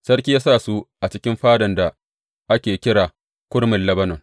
Sarki ya sa su a cikin Fadan da ake kira Kurmin Lebanon.